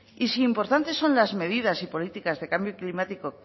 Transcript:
y si importantes son las medidas y políticas de cambio climático